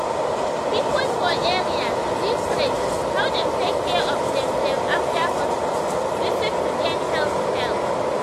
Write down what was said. people for area need rate how dem take care of dem dem after hospital visit to gain health help.